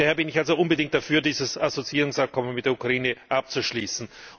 Daher bin ich also unbedingt dafür, dieses Assoziierungsabkommen mit der Ukraine abzuschließen.